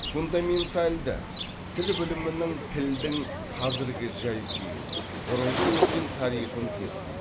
фундаменталды тіл білімінің тілдің қазіргі жай күйін бұрынғы өткен тарихын зерттейді